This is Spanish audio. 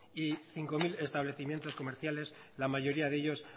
y cinco mil establecimientos comerciales la mayoría de ellos